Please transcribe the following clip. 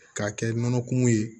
K'a kɛ nɔnɔ kumu ye